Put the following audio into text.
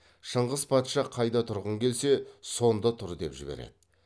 шыңғыс патша қайда тұрғың келсе сонда тұр деп жібереді